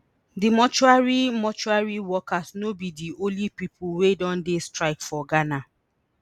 di mortuary mortuary workers no be di only pipo wey don dey strike for ghana